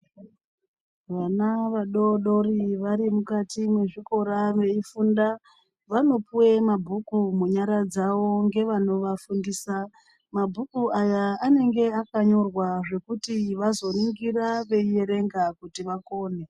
Vana vadodori vari mukati mwezvikora veifunda, vanopuwa mabhuku munyara dzawo ngevanovafundisa. Mabhuku ayaa anenge akanyorwa zvekuti vazoningira veierenga kuti vakone.